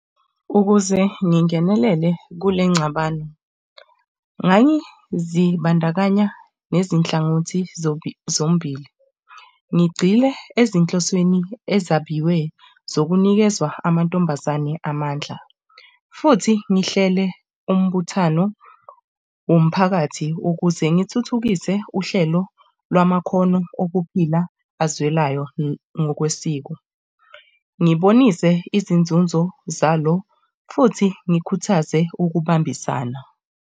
Ukuze ngingenelele kule nengxabano, ngangizibandakanya nezinhlangothi zombili ngigxile ezinhlosweni ezabiwe zokunikezwa amantombazane amandla futhi ngihlele umbuthano womphakathi ukuze ngithuthukise uhlelo lwamakhono okuphila azwelayo ngokwesiko. Ngibonise izinzunzo zalo futhi ngikhuthaze ukubambisana.